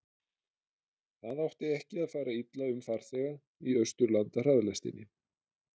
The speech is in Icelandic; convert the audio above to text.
það átti ekki að fara illa um farþega í austurlandahraðlestinni